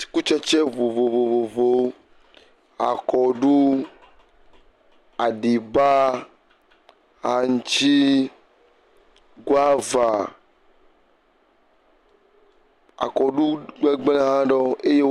Atikutsetse vovovowo, akɔɖu, aɖibaa, aŋtsi, akɔɖu gbegblẽ aɖewo eye wo.